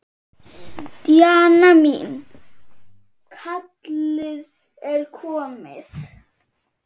Stjana mín, kallið er komið.